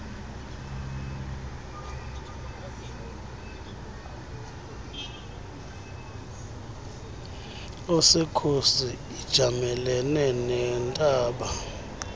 esekhosi ijamelene nentaba